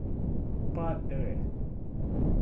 падре